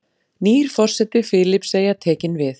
Nýr forseti Filippseyja tekinn við